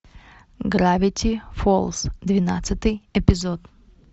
гравити фолз двенадцатый эпизод